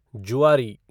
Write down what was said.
जुआरी